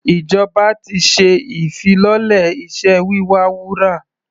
Ìjọba ti ṣe ìfilọ́lẹ̀ iṣẹ́ wíwa wúrà.